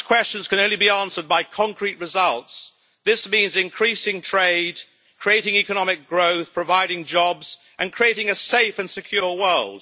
Such questions can be answered only by concrete results. This means increasing trade, creating economic growth, providing jobs and creating a safe and secure world.